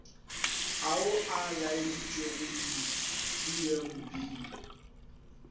ao a laeditšwego di pmb